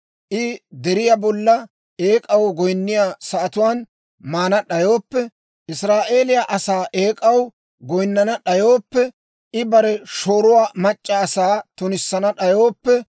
I deriyaa bolla eek'aw goyinniyaa sa'atuwaan maana d'ayooppe, Israa'eeliyaa asaa eek'aw goyinnana d'ayooppe, I bare shooruwaa mac'c'a asaa tunissana d'ayooppe,